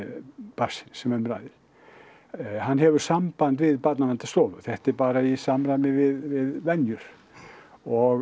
barnsins sem um ræðir hann hefur samband við Barnaverndarstofu þetta er bara í samræmi við venjur og